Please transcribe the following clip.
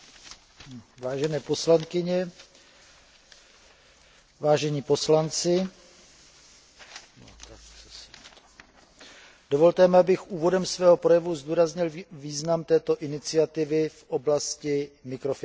Vážené poslankyně, vážení poslanci, dovolte mi, abych úvodem svého projevu zdůraznil význam této iniciativy v oblasti mikrofinancování.